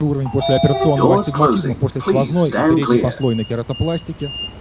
уровень послеоперационного астигматизма после сквозной и передней послойной кератопластики